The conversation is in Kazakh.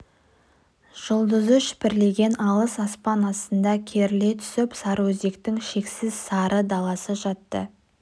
жұлдызы шүпірлеген алыс аспан астында керіле түсіп сарыөзектің шексіз сары даласы жатты